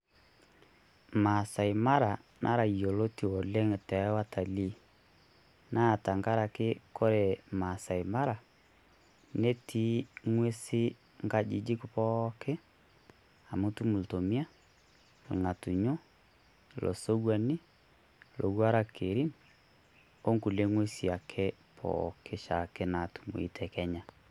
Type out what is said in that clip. Masai Mara nara yioloti oleng' too watalii naa tengaraki ore Masai Mara netii ing'usi nkajijik pooki aamu itum iltomia, itum irng'atunyo, ilosokuani, ilowuarak Kerin, ingulie ng'uesi ake pooki naatumoyu te Kenya.